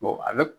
a bɛ